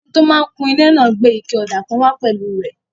Ẹni tó máa n kun ilé náà gbé ike ọ̀dà kan wá pẹ̀lú rẹ̀